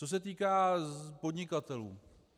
Co se týká podnikatelů.